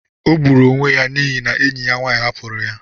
O gburu onwe ya n'ihi na enyi ya nwanyị hapụrụ ya.